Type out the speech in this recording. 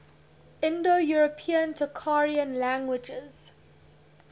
indo european tocharian languages